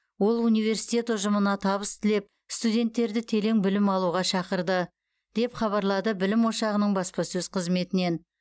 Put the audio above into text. ол университет ұжымына табыс тілеп студенттерді телең білім алуға шақырды деп хабарлады білім ошғаның баспасөз қызметінен